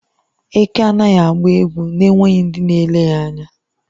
Eké anaghị agba egwu na-enweghị ndị na-ele ya anya.